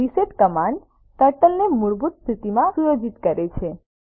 reset command ટર્ટલને તેની મૂળભૂત સ્થિતિમાં સુયોજિત કરે છે